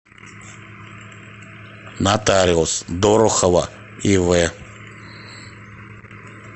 нотариус дорохова ив